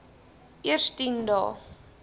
eers tien dae